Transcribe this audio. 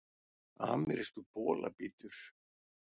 Amerískur bolabítur